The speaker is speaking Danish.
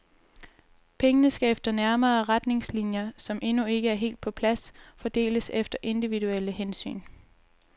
Pengene skal efter nærmere retningslinjer, som endnu ikke er helt på plads, fordeles efter individuelle hensyn.